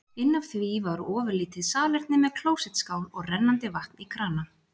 Inn af því var ofurlítið salerni með klósettskál og rennandi vatni í krana.